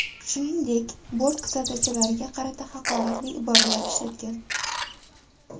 Shuningdek bort kuzatuvchilariga qarata haqoratli iboralar ishlatgan.